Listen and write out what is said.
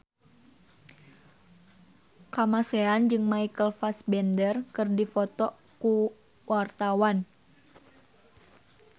Kamasean jeung Michael Fassbender keur dipoto ku wartawan